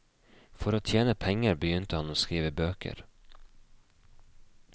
For å tjene penger begynte han å skrive bøker.